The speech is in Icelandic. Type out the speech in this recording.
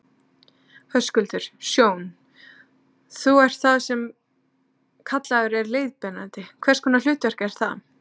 Höskuldur: Sjón, þú ert það sem kallaður er leiðbeinandi, hvers konar hlutverk er það?